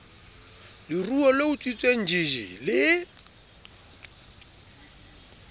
leruo le utswitsweng jj le